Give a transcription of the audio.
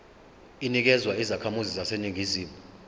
inikezwa izakhamizi zaseningizimu